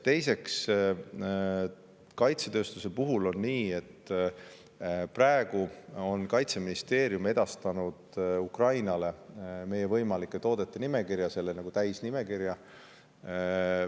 Teiseks, kaitsetööstuse puhul on nii, et praegu on Kaitseministeerium edastanud Ukrainale meie võimalike toodete täisnimekirja.